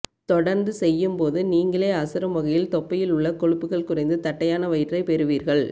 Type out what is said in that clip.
தொடர்ந்து செய்யும் போது நீங்களே அசரும் வகையில் தொப்பையில் உள்ள கொழுப்புகள் குறைந்து தட்டையான வயிற்றை பெறுவீர்கள்